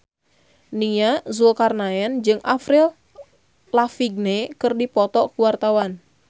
Nia Zulkarnaen jeung Avril Lavigne keur dipoto ku wartawan